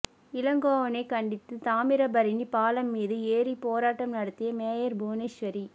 இளங்கோவனைக் கண்டித்து தாமிரபரணி பாலம் மீது ஏறி போராட்டம் நடத்திய மேயர் புவனேஸ்வரி